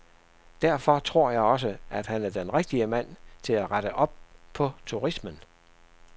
Derfor tror jeg også, at han er den rigtige mand til at rette op på turismen.